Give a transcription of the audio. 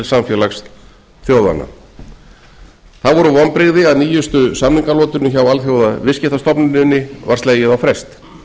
samfélags þjóðanna það voru vonbrigði að nýjustu samningalotunni hjá alþjóðaviðskiptastofnuninni var slegið á frest